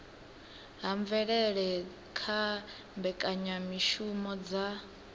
ha mvelele kha mbekanyamishumo dza